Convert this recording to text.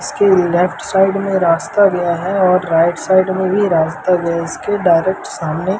इसके left side में रास्ता गया है और राइट साइड में भी रास्ता गया है इसके डायरेक्ट सामने --